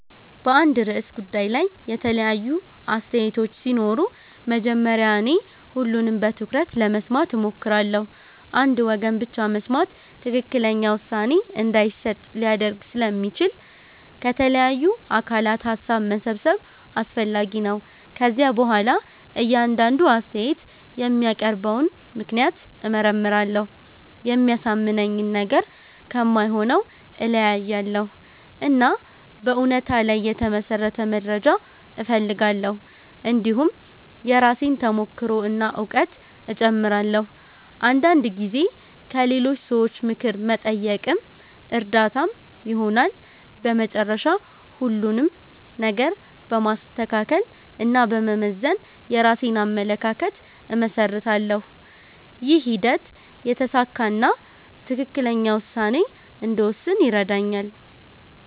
በአንድ ርዕሰ ጉዳይ ላይ የተለያዩ አስተያየቶች ሲኖሩ መጀመሪያ እኔ ሁሉንም በትኩረት ለመስማት እሞክራለሁ። አንድ ወገን ብቻ መስማት ትክክለኛ ውሳኔ እንዳይሰጥ ሊያደርግ ስለሚችል ከተለያዩ አካላት ሀሳብ መሰብሰብ አስፈላጊ ነው። ከዚያ በኋላ እያንዳንዱ አስተያየት የሚያቀርበውን ምክንያት እመርመራለሁ። የሚያሳምነኝን ነገር ከማይሆነው እለያያለሁ፣ እና በእውነታ ላይ የተመሠረተ መረጃ እፈልጋለሁ። እንዲሁም የራሴን ተሞክሮ እና እውቀት እጨምራለሁ። አንዳንድ ጊዜ ከሌሎች ሰዎች ምክር መጠየቅም እርዳታ ይሆናል። በመጨረሻ ሁሉንም ነገር በማስተካከል እና በመመዘን የራሴን አመለካከት እመሰርታለሁ። ይህ ሂደት የተሳካ እና ትክክለኛ ውሳኔ እንድወስን ይረዳኛል።